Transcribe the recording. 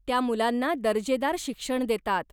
त्या मुलांना दर्जेदार शिक्षण देतात.